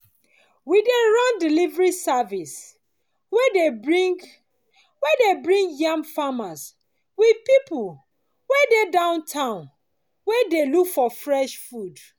we dey run delivery service wey dey bring wey dey bring yam farmers with people wey dey town wey dey look for fresh food